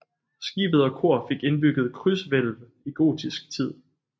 Skibet og kor fik indbygget krydshvælv i gotisk tid